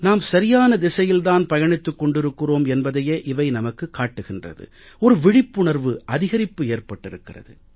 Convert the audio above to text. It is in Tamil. நாம் சரியான திசையில்தான் பயணித்துக் கொண்டிருக்கிறோம் என்பதையே இவை நமக்குக் காட்டுகிறது ஒரு விழிப்புணர்வு அதிகரிப்பு ஏற்பட்டிருக்கிறது